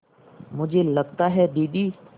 मुझे लगता है दीदी